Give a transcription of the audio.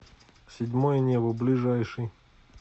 седьмое небо ближайший